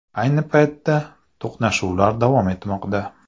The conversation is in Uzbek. Ayni paytda to‘qnashuvlar davom etmoqda.